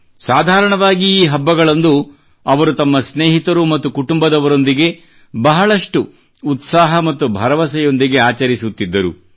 ಸಾಧಾರಣವಾಗಿ ಈ ಹಬ್ಬಗಳಂದು ಅವರು ತಮ್ಮ ಸ್ನೇಹಿತರು ಮತ್ತು ಕುಟುಂಬದವರೊಂದಿಗೆ ಬಹಳಷ್ಟು ಉತ್ಸಾಹ ಮತ್ತು ಭರವಸೆಯೊಂದಿಗೆ ಆಚರಿಸುತ್ತಿದ್ದರು